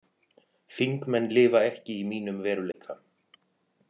Þingmenn lifa ekki í mínum veruleika